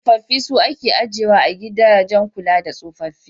Tsofaffi su ake ajiyewa a gidajen kula da tsofaffi.